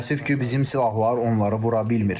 Təəssüf ki, bizim silahlar onları vura bilmir.